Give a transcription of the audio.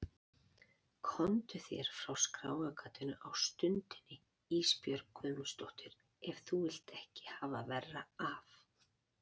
Komdu þér frá skráargatinu á stundinni Ísbjörg Guðmundsdóttir ef þú vilt ekki hafa verra af.